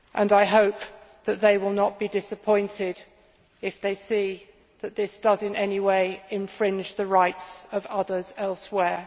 I hope that they will not be disappointed if they see that this does, in any way, infringe the rights of others elsewhere.